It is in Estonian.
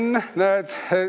Enn, näed.